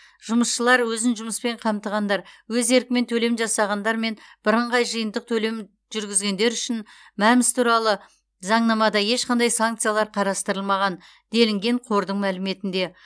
жұмысшылар өзін жұмыспен қамтығандар өз еркімен төлем жасағандар мен бірыңғай жиынтық төлем жүргізгендер үшін мәмс туралы заңнамада ешқандай санкциялар қарастырылмаған делінген қордың мәліметінде